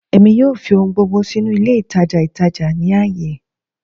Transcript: Emi yoo fi ohun gbogbo sinu ile itaja itaja ni aaye